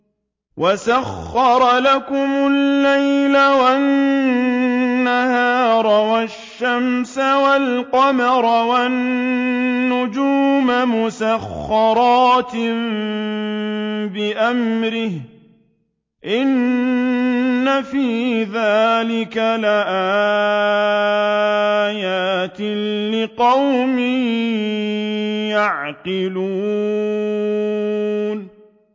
وَسَخَّرَ لَكُمُ اللَّيْلَ وَالنَّهَارَ وَالشَّمْسَ وَالْقَمَرَ ۖ وَالنُّجُومُ مُسَخَّرَاتٌ بِأَمْرِهِ ۗ إِنَّ فِي ذَٰلِكَ لَآيَاتٍ لِّقَوْمٍ يَعْقِلُونَ